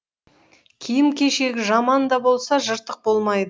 киім кешегі жаман да болса жыртық болмайды